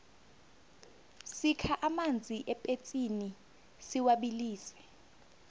sikha amanzi epetsini siwabilise